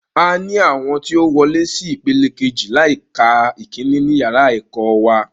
A ni àwọn tí ó wolé sí ìpele kejì láì ka ìkíní ní yàrá ẹ̀kọ́ wa